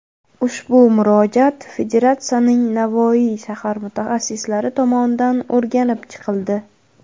Ushbu murojaat Federatsiyaning Navoiy shahar mutaxassislari tomonidan o‘rganib chiqildi.